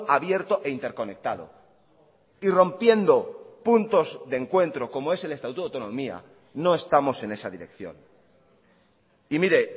abierto e interconectado y rompiendo puntos de encuentro como es el estatuto de autonomía no estamos en esa dirección y mire